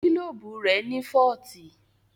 Gílóbù rẹ̀ ní fọ́ọ̀tì